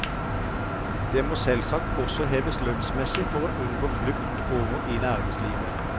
De må selvsagt også heves lønnsmessig for å unngå flukt over i næringslivet.